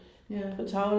Ja